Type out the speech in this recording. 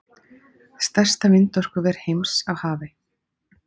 Stærsta vindorkuver heims á hafi